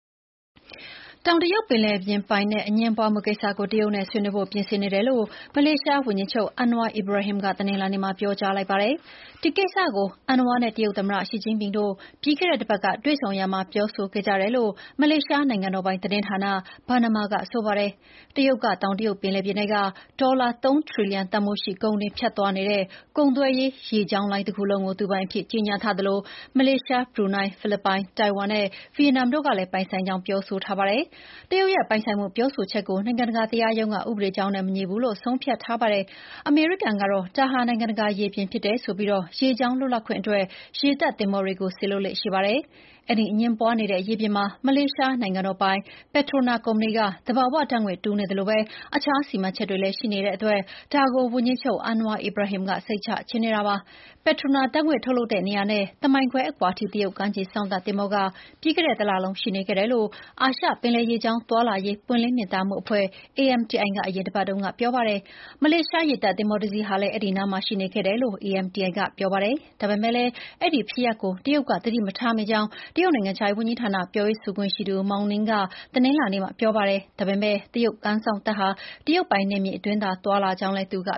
တောင်တရုတ်ပင်လယ်ပြင် ပိုင်နက်အငြင်းပွါးမှုကိစ္စကို တရုတ်နဲ့ဆွေးနွေးဖို့ ပြင်ဆင်နေတယ်လို့ မလေးရှားဝန်ကြီးချုပ် Anwar Ibrahim က တနင်္လာနေ့ က ပြောကြားလိုက်ပါတယ်။ ဒီကိစ္စကို Anwar နဲ့ တရုတ်သမ္မတရှီကျင့်ဖျင်တို့ ပြီးခဲ့တဲ့အပတ်တွေ့ဆုံရာမှာ ပြောခဲ့ကြတယ်လို့ မလေးရှားနိုင်ငံတော်ပိုင် သတင်းဌာန Bernama က ဆိုပါတယ်။ တရုတ်က တောင်တရုတ်ပင်လယ်ပြင်ထဲက ဒေါ်လာ ၃ ဘီလီယံတန်ဖိုးရှိ ကုန်တွေ ဖြတ်သွားနေတဲ့ကုန်သွယ်ရေး ရေကြောင်းလိုင်းတခုလုံးကို သူပိုင်အဖြစ် ကြေညာထားသလို Malaysia, Brunei, the Philippines, Taiwan နဲ့ Vietnam တို့ကလည်း ပိုင်ဆိုင်ကြောင်း ပြောထားကြတာပါ။ တရုတ်ရဲ့ပိုင်ဆိုင်မှုပြောဆိုချက်ကို နိုင်ငံတကာတရားရုံးက ဥပဒေကြောင်းနဲ့မညီဘူးလို့ ဆုံးဖြတ်ထားပါတယ်။ အမေရိကန်ကတော့ ဒါဟာ နိုင်ငံတကာရေပြင်ဖြစ်တယ်ဆိုပြီး ရေကြောင်းလွတ်လပ်ခွင့်အတွက် ရေတပ်သင်္ဘောတွေကို စေလွှတ်လေ့ရှိပါတယ်။ အဲဒီအငြင်းပွါးနေတဲ့ရေပြင်မှာ မလေးရှားနိုင်ငံတော်ပိုင် Petronas ကုမ္ပဏီက သဘာဝဓာတ်ငွေ့တူးနေသလို တခြားစီမံချက်တွေလည်း ရှိနေတာမို့ ဒါကို ဝန်ကြီးချုပ် Anwar Ibrahim က စိတ်ချချင်တာပါ။ Petronas ဓာတ်ငွေ့ ထုတ်လုပ်ရာနေရာနဲ့ တမိုင်ခွဲအကွာအထိ တရုတ်ကမ်းခြေစောင့်တပ်သင်္ဘောက ပြီးခဲ့တဲ့တလလုံး ရှိနေခဲ့တယ်လို့ အာရှပင်လယ်ရေကြောင်းသွားလာရေး ပွင့်လင်းမြင်သာမှုအဖွဲ့ AMTI က အရင်ပတ်တုန်းက ပြောပါတယ်။ မလေးရှားရေတပ်သင်္ဘောတစ်စီးဟာလည်း အဲဒီအနားမှာရှိနေခဲ့တယ်လို့ AMTI က ဆိုပါတယ်။ ဒါပေမဲ့ အဲဒီဖြစ်ရပ်ကို တရုတ်ကသတိမထားမိကြောင်း တရုတ် နိုင်ငံခြားရေးဝန်ကြီးဌာန ပြောရေးဆိုခွင့်ရှိသူ Mao Ning က တနင်္လာနေ့က ပြောပါတယ်။ ဒါပေမဲ့ တရုတ်ကမ်းခြေစောင့်တပ်ဟာ တရုတ်ပိုင်နယ်မြေအတွင်းသာ သွားလာကြောင်း သူက